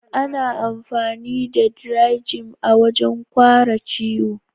Ana amfani da "Dry-Jim " a wajen guaran ciwo.